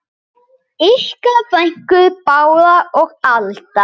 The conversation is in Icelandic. Ykkar frænkur Bára og Alda.